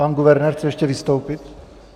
pan guvernér chce ještě vystoupit.